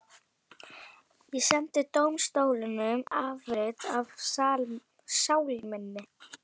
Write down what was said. Ég sendi dómstólunum afrit af sál minni.